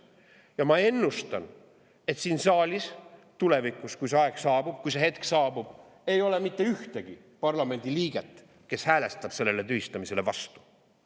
Ja ma ennustan, et siin saalis – tulevikus, kui see aeg saabub, kui see hetk saabub – ei ole mitte ühtegi parlamendiliiget, kes hääletaks sellele tühistamisele vastu.